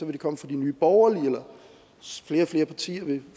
det komme fra nye borgerlige og flere og flere partier vil